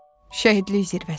Şəhidlik zirvəsi.